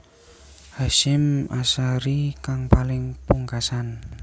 Hasyim Asharie kang paling pungkasan